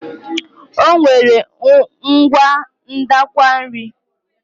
O nwere ngwa ndakwa nri.